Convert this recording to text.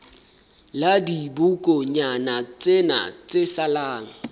la dibokonyana tsena tse salang